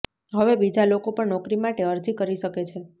હવે બીજા લોકો પણ નોકરી માટે અરજીઓ કરી શકે છે